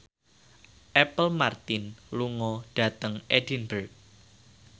Apple Martin lunga dhateng Edinburgh